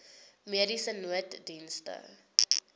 mediese nooddienste